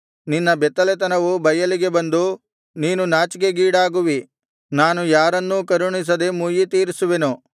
ನಿನ್ನ ಬೆತ್ತಲೆತನವು ಬಯಲಿಗೆ ಬಂದು ನೀನು ನಾಚಿಕೆಗೀಡಾಗುವಿ ನಾನು ಯಾರನ್ನೂ ಕರುಣಿಸದೆ ಮುಯ್ಯಿತೀರಿಸುವೆನು